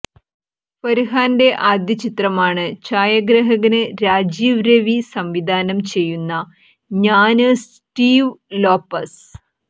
ഫര്ഹാന്റെ ആദ്യ ചിത്രമാണ് ഛായഗ്രഹകന് രാജീവ് രവി സംവിധാനം ചെയ്യുന്ന ഞാന് സ്റ്റീവ് ലോപ്പസ്